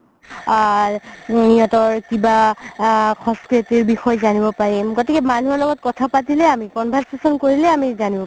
আ সিহতৰ কিবা আ বিষয়ে জনিব পাৰিম গতিকে মানুহৰ লগত কথা পাতিলে আমি conversation কৰিলে আমি জানিব পাৰিম